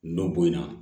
Nɔ boyan na